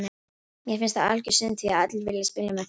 Mér finnst það algjör synd því allir vilja spila með þeim bestu.